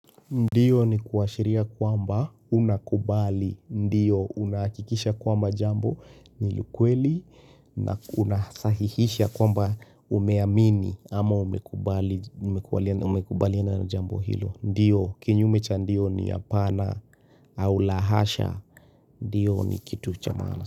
Ndio ni kuashiria kwamba unakubali, ndio unahakikisha kwamba jambo ni ukweli na unasahihisha kwamba umeamini ama umekubaliana na jambo hilo Ndio kinyume cha ndio ni hapana au la hasha, ndio ni kitu cha maana.